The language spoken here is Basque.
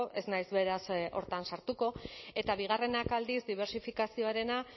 ez naiz beraz hortan sartuko eta bigarrenak aldiz dibertsifikazioarena